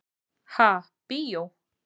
Ha, bíó?